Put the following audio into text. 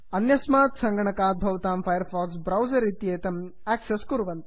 अन्यस्मात् सङ्गणकात् भवतां फैर् फाक्स् ब्रौसर् इत्येतम् आक्सस् कुर्वन्तु